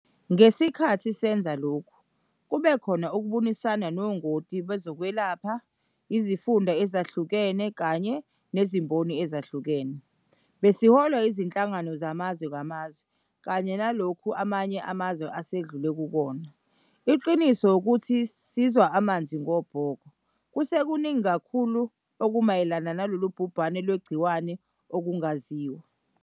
Ngesikhathi senza lokho kube khona ukubonisana nongoti bezokwelapha, izifunda ezehlukene kanye nezimboni ezehlukene. Besiholwa izinhlangano zamazwe ngamazwe kanye nalokho amanye amazwe asedlule kukhona. Iqiniso ukuthi sizwa amanzi ngobhoko. Kusekuningi kakhulu okumayelana nalolu bhubhane lwegciwane okungaziwa.